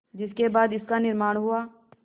जिसके बाद इसका निर्माण हुआ